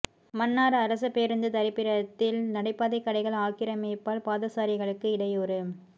மன்னார் அரச பேரூந்து தரிப்பிடத்தில் நடைபாதைக் கடைகள் ஆக்கிரமிப்பால் பாதசாரிகளுக்கு இடையூறு